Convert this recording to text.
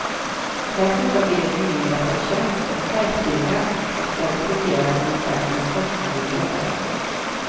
Dessutom blir det en nyinrättad tjänst, en chefdirigent, som ska fungera som orkesterns konstnärlige ledare.